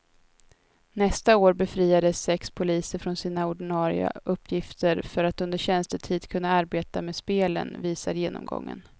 Nästa år befriades sex poliser från sina ordinarie uppgifter för att under tjänstetid kunna arbeta med spelen, visar genomgången.